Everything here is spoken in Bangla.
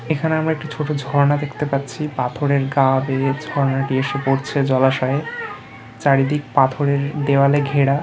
এখানে আমরা একটি ছোট ঝর্ণা দেখতে পাচ্ছি পাথরের গা বেয়ে ঝর্ণাটি এসে পড়ছে জলাশয়ে চারিদিক পাথরের দেয়ালে ঘেরা ।